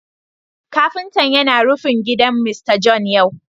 Kafinta yana rufin gidan Mr John yau